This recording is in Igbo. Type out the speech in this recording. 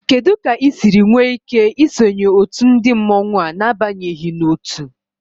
Kedu ka ị siri nwee ike isonye otu ndị mmọnwu a n'abanyeghị n'otu?